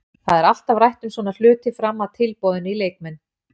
Það er alltaf rætt um svona hluti fram að tilboðinu í leikmenn.